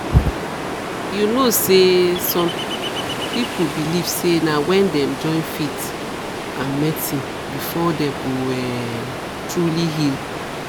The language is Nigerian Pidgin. you know say some people believe say na wen dem join faith and medicine before dem go um truly heal